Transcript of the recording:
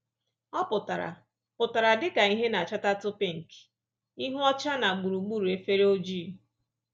Ọ pụtara pụtara dị ka ìhè na-achatatụ pinki - ihu ọcha na gburugburu efere ojii